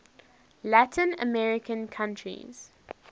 latin american countries